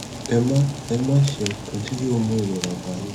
ẹ má ẹ má ṣe nǹkan tí yóò mú ìrora ba yín